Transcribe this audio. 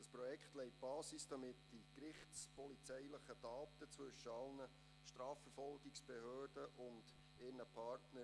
Dieses Projekt legt die Basis für einen medienbruchlosen Austausch der gerichtspolizeilichen Daten zwischen allen Strafverfolgungsbehörden und ihren Partnern.